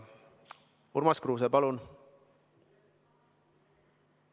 Urmas Kruuse, palun!